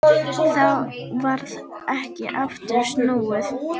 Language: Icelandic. Þá varð ekki aftur snúið.